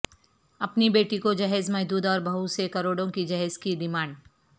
اپنی بیٹی کو جہیز محدود اور بہو سے کروڑوں کے جہیز کی ڈیمانڈ